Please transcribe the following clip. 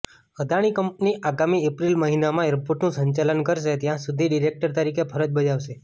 Adani company આગામી April મહિનામાં એરપોર્ટનું સંચાલન કરશે ત્યાં સુધી ડિરેક્ટર તરીકે ફરજ બજાવશે